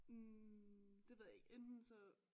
Hm det ved jeg ikke enten så